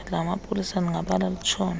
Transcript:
lamapolisa ndingabala litshone